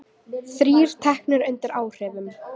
Þrír teknir undir áhrifum